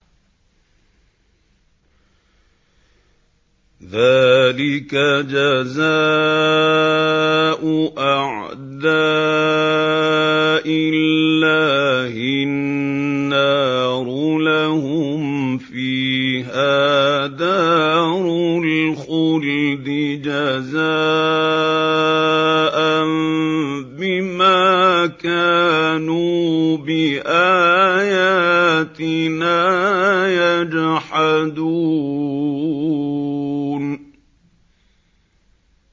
ذَٰلِكَ جَزَاءُ أَعْدَاءِ اللَّهِ النَّارُ ۖ لَهُمْ فِيهَا دَارُ الْخُلْدِ ۖ جَزَاءً بِمَا كَانُوا بِآيَاتِنَا يَجْحَدُونَ